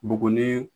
Buguni